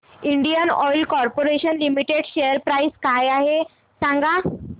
Indian oil corporation limited share price काय आहे सांगा